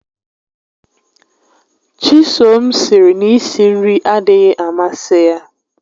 Chisom sịrị na i si nri adịghị amasị ya